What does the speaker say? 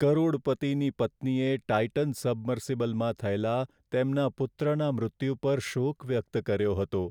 કરોડપતિની પત્નીએ ટાઇટન સબમર્સિબલમાં થયેલા તેમના પુત્રના મૃત્યુ પર શોક વ્યક્ત કર્યો હતો.